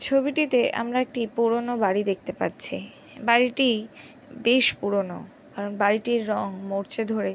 ছবিটিতে আমরা একটি পুরোনো বাড়ি দেখতে পাচ্ছি। বাড়িটি বেশ পুরোনো। কারন বাড়িটির রং মরছে ধরে --